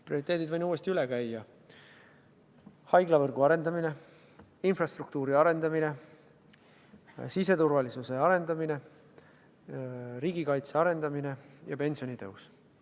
Prioriteedid võin uuesti üle käia: haiglavõrgu arendamine, infrastruktuuri arendamine, siseturvalisuse arendamine, riigikaitse arendamine ja pensionitõus.